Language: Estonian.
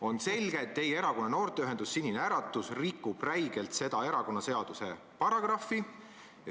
" On selge, et teie erakonna noorteühendus Sinine Äratus rikub räigelt seda erakonnaseaduse paragrahvi.